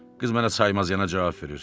Qız mənə saymaz yana cavab verir.